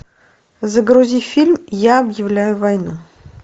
загрузи фильм я объявляю войну